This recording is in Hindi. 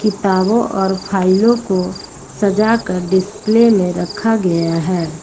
किताबों और फाइलों को सजाकर डिस्प्ले में रखा गया है।